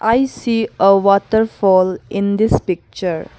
I see a waterfall in this picture.